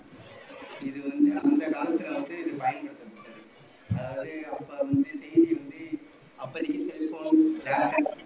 இது வந்து அந்த காலத்துல வந்து